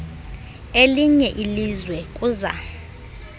elinye ilizwe kuza